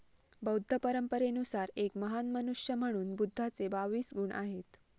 बौद्ध परंपरेनुसार एक महान मनुष्य म्हणून बुद्धाचे बावीस गुण आहेत.